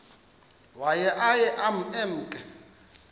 waye aye emke